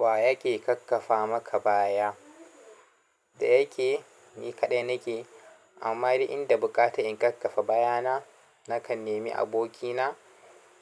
Wa yake ƙaƙƙafa maka baya? Da yake ni kaɗai nake, amma da inda buƙata in ƙaƙƙafa bayana, nakan nemi abokina